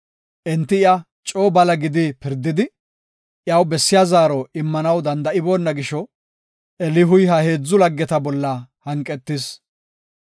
Enti iya coo bala gidi pirdidi, iyaw bessiya zaaro immanaw danda7iboona gisho Elihuy ha heedzu laggeta bollaka hanqetis.